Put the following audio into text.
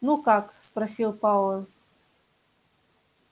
ну как спросил пауэлл